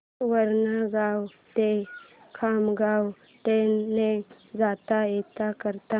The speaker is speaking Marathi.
वरणगाव ते खामगाव ट्रेन ने जाता येतं का